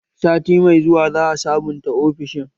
Sati mai zuwa za a sabunta ofishin